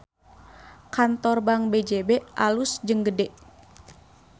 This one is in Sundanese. Kantor Bank BJB alus jeung gede